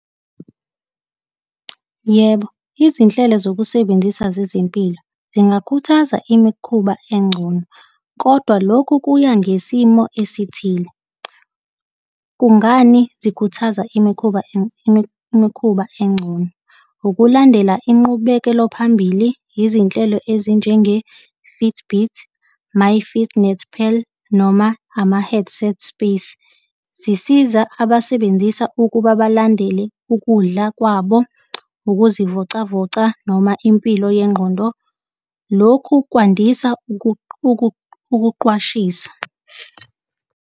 Yebo, izinhlelo zokusebenzisa zezempilo zingakhuthaza imikhuba engcono, kodwa lokhu kuya ngesimo esithile. Kungani zikhuthaza imikhuba imikhuba engcono? Ukulandela inqubekelo phambili yezinhlelo ezinjenge-Fitbit, MyFitnessPal, noma ama-headset space. Zisiza abasebenzisa ukuba balandele ukudla kwabo, ukuzivocavoca noma impilo yengqondo. Lokhu kwandisa ukuqwashisa.